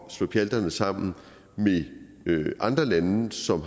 at slå pjalterne sammen med andre lande som